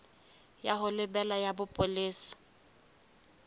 ya ho lebela ya bopolesa